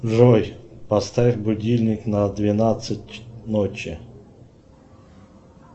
джой поставь будильник на двенадцать ночи